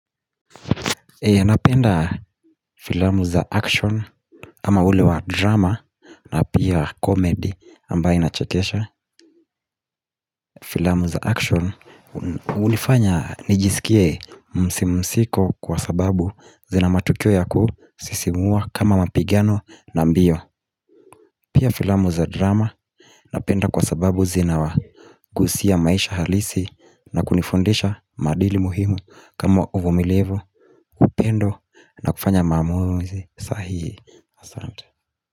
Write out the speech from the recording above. Napenda filamu za action ama ule wa drama na pia comedy ambaye inachekesha Filamu za action hunifanya nijisikie msimsiko kwa sababu zina matukio yaku sisimua kama mapigano na mbio Pia filamu za drama Napenda kwa sababu zina wagusia maisha halisi na kunifundisha maadili muhimu kama uvumilivu upendo na kufanya maamuzi sahihi, asante.